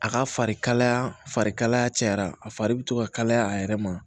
A ka fari kalaya fari kalaya cayara a fari be to ka kalaya a yɛrɛ ma